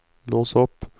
lås opp